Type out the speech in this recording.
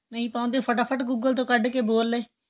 ਨਹੀਂ ਪਾਉਦੇ ਫ਼ਟਾਫ਼ਟ google ਤੋ ਕੱਢ ਕੇ ਬੋਲ ਲੇ